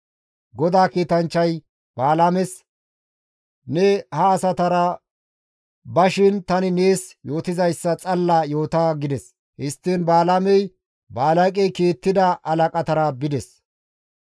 GODAA kiitanchchay Balaames, «Ne ha asatara ba shin tani nees yootizayssa xalla yoota» gides; histtiin Balaamey Balaaqey kiittida halaqatara bides.